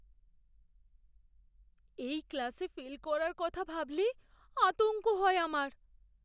এই ক্লাসে ফেল করার কথা ভাবলেই আতঙ্ক হয় আমার!